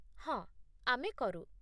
ହଁ, ଆମେ କରୁ।